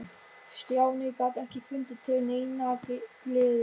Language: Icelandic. Stjáni gat ekki fundið til neinnar gleði.